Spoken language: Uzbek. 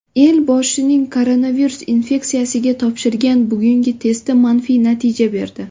Elboshining koronavirus infeksiyasiga topshirgan bugungi testi manfiy natija berdi.